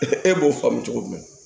e b'o faamu cogo min na